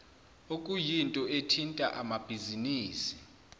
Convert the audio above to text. okuyinto ethinta amabhizinisi